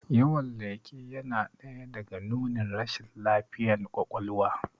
Yawan leƙe yana ɗaya daga nunin rashin lafiyan kwakwalwa